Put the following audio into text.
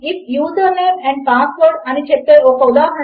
కనుక మనము you forgot to fill out a field అని చెపుతాము